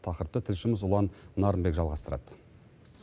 тақырыпты тілшіміз ұлан нарынбек жалғастырады